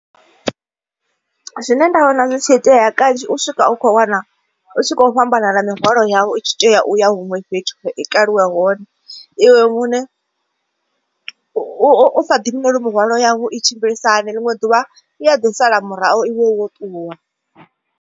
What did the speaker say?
Zwine nda vhona zwi tshi itea kanzhi u swika u kho wana u tshi kho u fhambana na mihwalo yau itshi tea uya huṅwe fhethu i kaliwa hone. Iwe muṋe u u sa ḓivhi nori mihwalo yau i tshimbilisa hani ḽiṅwe ḓuvha i a ḓi sala murahu iwe wo ṱuwa.